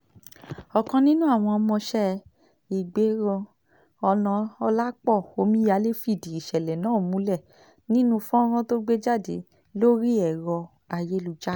ọ̀kan nínú àwọn ọmọọṣẹ́ ìgbérò onàọ́làpọ̀ omíyalé fìdí ìṣẹ̀lẹ̀ náà múlẹ̀ nínú fọ́nrán tó gbé jáde lórí ẹ̀rọ ayélujára